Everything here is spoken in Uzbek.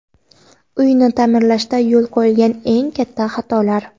Uyni ta’mirlashda yo‘l qo‘yiladigan eng katta xatolar.